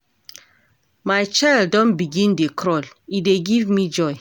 My child don begin dey crawl, e dey give me joy.